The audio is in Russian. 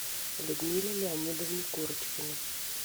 людмиле леонидовне курочкиной